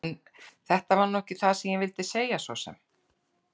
En þetta var nú ekki það sem ég vildi segja svo sem.